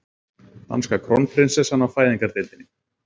Danska krónprinsessan á fæðingardeildinni